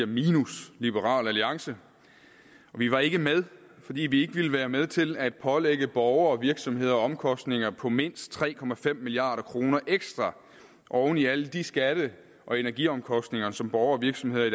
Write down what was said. minus liberal alliance vi var ikke med fordi vi ikke ville være med til at pålægge borgere og virksomheder omkostninger på mindst tre milliard kroner ekstra oven i alle de skatte og energiomkostninger som borgere og virksomheder i